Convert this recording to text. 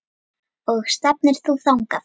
Og stefnir þú þangað?